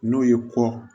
N'o ye kɔ